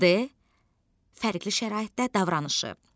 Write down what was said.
D fərqli şəraitdə davranışı.